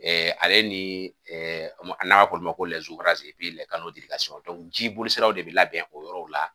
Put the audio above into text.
ale ni n'a m'a fɔ olu ma ji bolisiraw de bɛ labɛn o yɔrɔw la